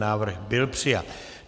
Návrh byl přijat.